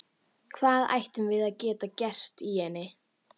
Hvað ættum við að geta gert í henni?